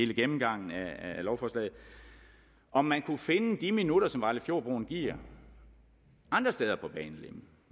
gennemgangen af lovforslaget om man kunne finde de minutter som vejlefjordbroen giver andre steder på banelinjen